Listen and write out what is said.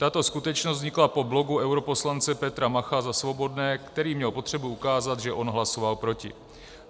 Tato skutečnost vznikla po blogu europoslance Petra Macha za Svobodné, který měl potřebu ukázat, že on hlasoval proti.